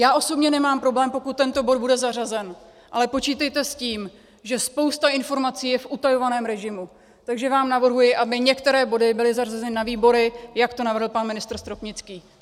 Já osobně nemám problém, pokud tento bod bude zařazen, ale počítejte s tím, že spousta informací je v utajovaném režimu, takže vám navrhuji, aby některé body byly zařazeny na výbory, jak to navrhl pan ministr Stropnický.